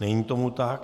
Není tomu tak.